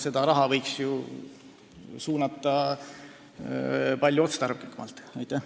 Seda raha võiks ju palju otstarbekamalt suunata.